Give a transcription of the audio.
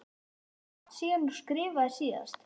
Er langt síðan þú skriftaðir síðast?